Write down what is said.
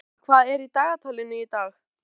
Ráðgeir, syngdu fyrir mig „Apinn í búrinu“.